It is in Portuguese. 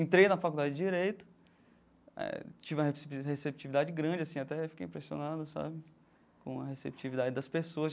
Entrei na faculdade de Direito, eh tive uma receptividade grande, assim até fiquei impressionado sabe com a receptividade das pessoas.